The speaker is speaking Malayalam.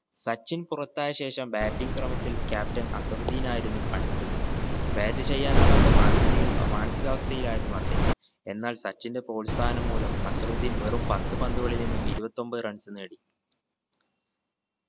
സച്ചിൻ പുറത്തായ ശേഷം batting ക്രമത്തിൽ captain അസറുദ്ധീൻ ആയിരുന്നു അടുത്തത് bat ചെയ്യാനാവാത്ത മാനസിക ഏർ മാനസിക അവസ്ഥയിലായിരുന്നു അദ്ദേഹം. എന്നാൽ സച്ചിന്റെ പ്രോത്സാഹനം മൂലം അസറുദ്ധീൻ വെറും പത്ത് പന്തുകളിൽ നിന്നും ഇരുപത്തൊമ്പത് runs നേടി